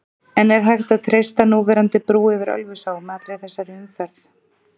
En er hægt að treysta núverandi brú yfir Ölfusá með allri þessari umferð?